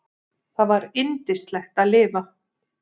Það var yndislegt að lifa.